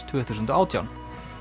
tvö þúsund og átján